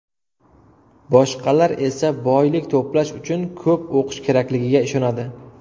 Boshqalar esa boylik to‘plash uchun ko‘p o‘qish kerakligiga ishonadi.